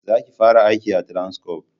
Za ki fara aiki a Transcorp!